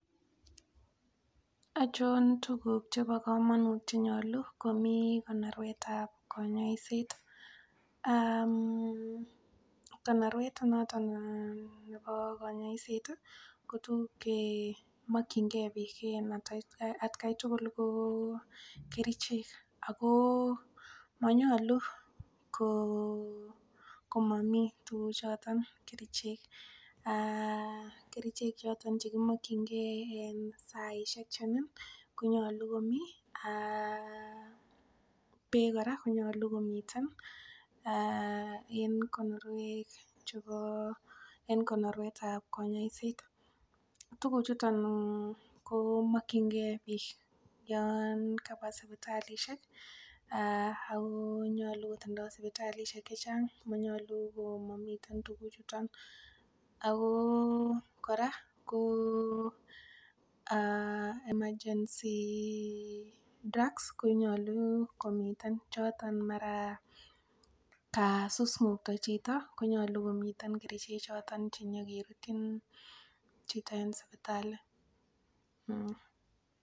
Achon tuguk chebo komonut chenyolu komii konorwetab konyoiset? Konorwet noton nebo konyoiset ko tuguk chemokyingee biik en atkai tugul ko kerichek ako monyolu ko komomii tuguk choton kerichek um kerichek choton chekimokyingee en saisiek chenin konyolu komii um beek kora konyolu komiten en konorwek chubo en konorwetab konyoiset. Tuguk chuton komokyingee biik yon kaba sipitalisiek ako nyolu kotindoo sipitalisiek chechang ako nyolu komomiten tuguk chuton ako kora ko emergency drugs konyolu komiten choton mara kasus ng'okto chito konyolu komiten kerichek choton chenyokerutyin chito en sipitali